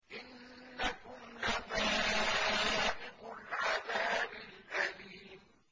إِنَّكُمْ لَذَائِقُو الْعَذَابِ الْأَلِيمِ